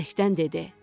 Bəbəkdən dedi: